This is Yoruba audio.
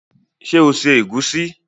Ṣé o se ègúsí?